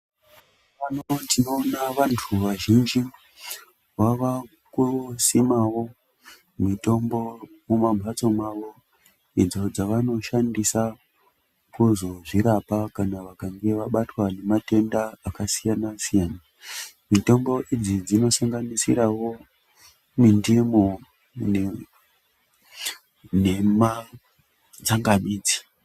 Pano tinoona vantu vazhinji, vava kusimawo mitombo mimambatso mavo, idzo dzavanoshandisa kuzozvirapa kana vakange vabatwa nematenda akasiyana-siyana, mitombo idzi dzinosanganisirawo mindimu nema tsangamidzi.